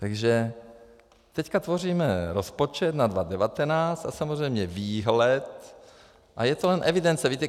Takže teďka tvoříme rozpočet na 2019 a samozřejmě výhled a je to jen evidence.